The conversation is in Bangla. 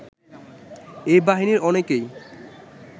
এই বাহিনীর অনেকেই